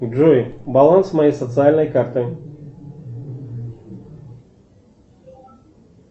джой баланс моей социальной карты